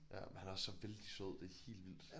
Ja men han er så vældig sød det helt vildt